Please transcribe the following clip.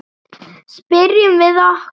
Spyrjum við okkur.